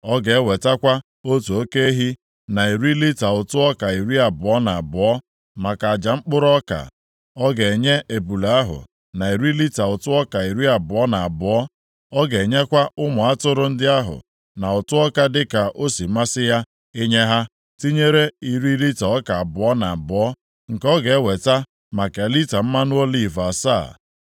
Ọ ga-ewetakwa otu oke ehi na iri lita ụtụ ọka iri abụọ na abụọ, maka aja mkpụrụ ọka. Ọ ga-enye ebule ahụ na iri lita ụtụ ọka iri abụọ na abụọ. Ọ ga-enyekwa ụmụ atụrụ ndị ahụ na ụtụ ọka dịka o si masị ya inye ha, tinyere iri lita ọka abụọ na abụọ, nke ọ ga-eweta maka lita mmanụ oliv asaa.